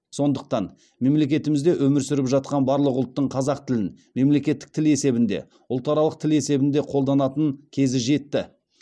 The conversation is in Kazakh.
сондықтан мемлекетімізде өмір сүріп жатқан барлық ұлттың қазақ тілін мемлекеттік тіл есебінде ұлтаралық тіл есебінде қолданатын кезі жетті